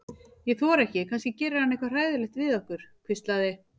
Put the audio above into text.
Ég þori ekki, kannski gerir hann eitthvað hræðilegt við okkur. hvíslaði